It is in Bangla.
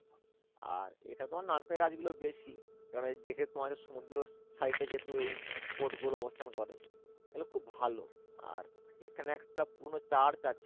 আর এখানে তোমার নারকেলের গাছ গুলো বেশি কারন এই যে তোমাদের সমুদ্র side এ যেহেতু এই fort গুলো অবস্থান করে এগুলো খুব ভালো আর এখানে একটা পুরোনো church আছে